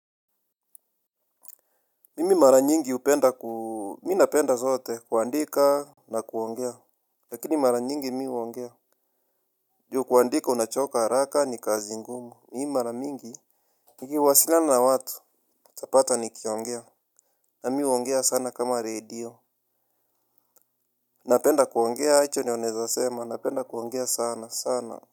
Mimi mara nyingi hupenda ku mimi napenda zote kuandika. Na kuongea. Lakini mara nyingi mimi huongea. Juu kuandika unachoka haraka ni kazi ngumu mimi mara mingi nikiwasiliana na watu utapata nikiongea. Na mimi huongea sana kama radio. Napenda kuongea hicho ndio nnaeza sema napenda kuongea sana sana.